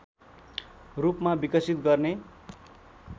रूपमा विकसित गर्ने